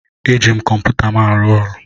Eji m kọmputa m arụ ọrụ.